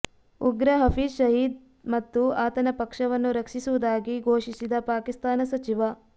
ಉಗ್ರ ಹಫೀಜ್ ಸಯೀದ್ ಮತ್ತು ಆತನ ಪಕ್ಷವನ್ನು ರಕ್ಷಿಸುವುದಾಗಿ ಘೋಷಿಸಿದ ಪಾಕಿಸ್ತಾನ ಸಚಿವ